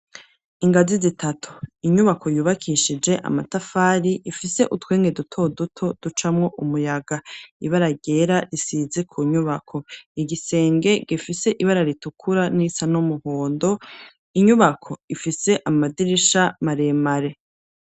ingazi zitatu, inyubako yubakishije amatafari, ifise utwenge dutoduto ducamwo umuyaga. Ibara ryera risize ku nyubako. Igisenge gifise ibara ritukura n'irisa n'umuhondo, inyubako ifise amadirisha maremare.